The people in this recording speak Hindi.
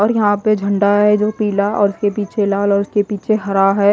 और यहां पे झंडा है जो पीला और उसके पीछे लाल और उसके पीछे हरा है।